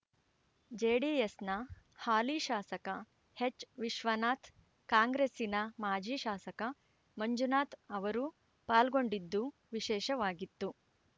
ಜೆಡಿಎಸ್‌ನ ಹಾಲಿ ಶಾಸಕ ಎಚ್‌ ವಿಶ್ವನಾಥ್‌ ಕಾಂಗ್ರೆಸ್ಸಿನ ಮಾಜಿ ಶಾಸಕ ಮಂಜುನಾಥ್‌ ಅವರೂ ಪಾಲ್ಗೊಂಡಿದ್ದು ವಿಶೇಷವಾಗಿತ್ತು